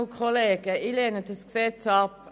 Ich lehne dieses Gesetz ab.